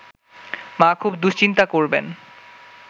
মা খুব দুশ্চিন্তা করবেন